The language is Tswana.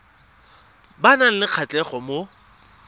ba nang le kgatlhego mo